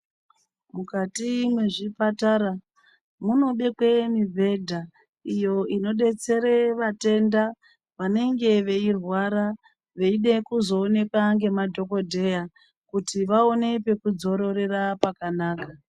Mukati mwezvipatara munobekwe mubhedha iyo inodetsere vatenda vanenge veirwara veide kuzoonekwa ngemadhokodheya kuti vaone pekudzororera pakanaka